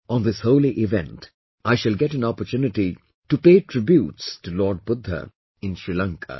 On this holy event I shall get an opportunity to pay tributes to Lord Budha in Sri Lanka